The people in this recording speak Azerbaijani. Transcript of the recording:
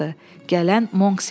Gələn Monks idi.